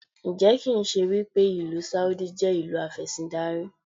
Ǹjẹ́ kì ń ṣe wípé ìlú Sáúdí jẹ́ ìlú afẹ́síndarí?